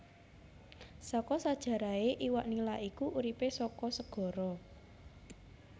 Saka sejarahé iwak Nila iku uripé saka segara